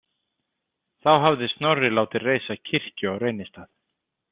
Þá hafði Snorri látið reisa kirkju á Reynistað.